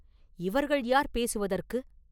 இவர்கள் யார் பேசுவதற்கு?